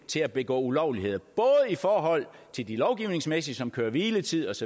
til at begå ulovligheder både i forhold til det lovgivningsmæssige som køre hvile tids